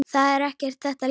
Það er ekki þetta ljós.